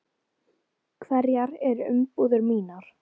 Hverjar eru umbúðir mínar?